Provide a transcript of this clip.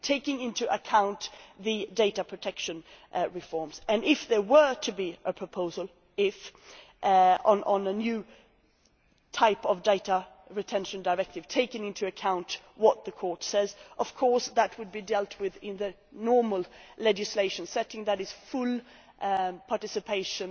Taking into account the data protection reforms if there were to be a proposal on a new type of data retention directive, taking into account what the Court says, of course that will be dealt with in the normal legislation, certainly with full participation